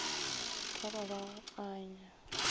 e ka ba go anya